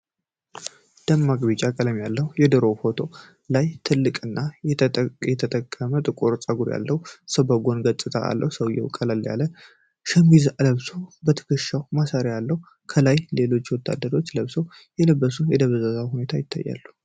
ደማቅ ቢጫ ዳራ ያለው የድሮ ፎቶግራፍ ላይ ትልቅና የተጠቀጠቀ ጥቁር ጸጉር ያለው ሰው የጎን ገጽታ አለ። ሰውዬው ቀላል ቀለም ያለው ሸሚዝ ለብሶ፣ የትከሻ ማሰሪያ አለው። ከኋላው ሌሎች ወታደራዊ ልብስ የለበሱ ሰዎች በደበዘዘ ሁኔታ ይታያሉ።